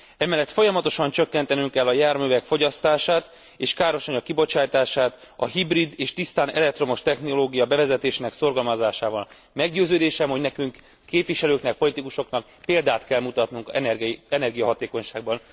Emellett folyamatosan csökkentenünk kell a járművek fogyasztását és károsanyag kibocsátását a hibrid és tisztán elektromos technológia bevezetésének szorgalmazásával. Meggyőződésem, hogy nekünk, képviselőknek, politikusoknak példát kell mutatnunk energiahatékonyságból.